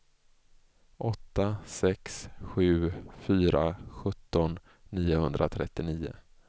åtta sex sju fyra sjutton niohundratrettionio